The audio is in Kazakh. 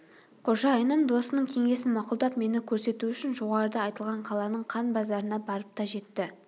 қожайыным досының кеңесін мақұлдап мені көрсету үшін жоғарыда айтылған қаланың қан базарына барып та жетті